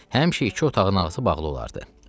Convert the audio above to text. Həmişə iki otağın qapısı bağlı olardı.